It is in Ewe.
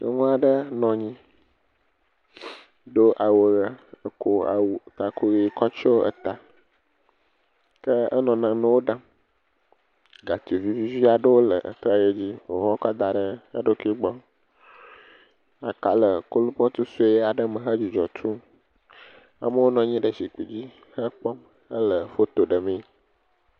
Nyɔnu aɖe nɔ anyi do awu ʋe gakɔ awu taku tsyɔ ta. Ke enɔ nanewo ɖam, gatsi vivivi aɖewo le egbɔ, aka le kolpɔt sue aɖe me hedzudzɔ tum, amewo nɔ anyi ɖe zikpui dzi hekpɔm hele foto ɖemee.